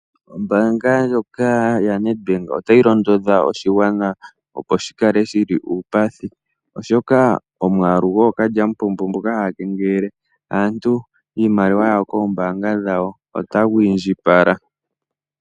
Ombaanga ndjoka yaNedbank otayi londodha oshigwana, opo shi kale shi li uupathi, oshoka omwaalu gookalyamupombo mboka haya kengelele aantu iimaliwa yawo koombaanga otagu indjipala.